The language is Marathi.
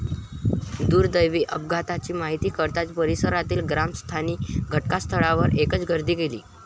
दुर्दैवी अपघाताची माहिती कळताच परिसरातील ग्रामस्थांनी घटनास्थळावर एकच गर्दी केली.